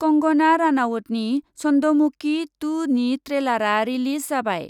कंग'ना रानाउतनि 'चन्द'मुकि टु' नि ट्रेलारआ रिलिज जाबाय।